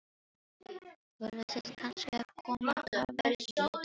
Voruð þið kannski að koma af vertíð, sagði Bjarni.